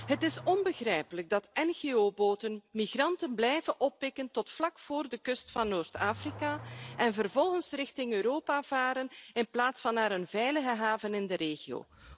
Het is onbegrijpelijk dat ngo boten migranten blijven oppikken tot vlak voor de kust van Noord Afrika en vervolgens richting Europa varen in plaats van naar een veilige haven in de regio.